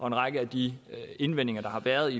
en række af de indvendinger der har været